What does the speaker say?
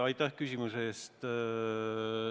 Aitäh küsimuse eest!